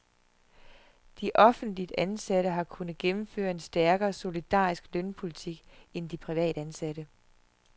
De offentligt ansatte har kunnet gennemføre en stærkere solidarisk lønpolitik end de privatansatte.